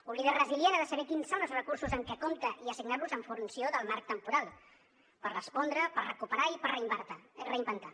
un líder resilient ha de saber quins són els recursos amb què compta i assignar los en funció del marc temporal per respondre per recuperar i per reinventar